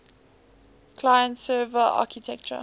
client server architecture